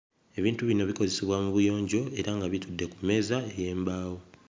Ebintu bino bikozesebwa mu buyonjo era nga bitudde ku mmeeza ey'embaawo.